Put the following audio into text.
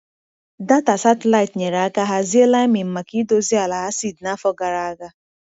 Data satịlaịtị nyere aka hazie liming maka idozi ala acid n’afọ gara aga.